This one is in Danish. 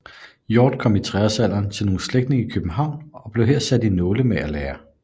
Hjorth kom i treårsalderen til nogle slægtninge i København og blev her sat i nålemagerlære